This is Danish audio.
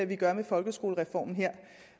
vi gør med folkeskolereformen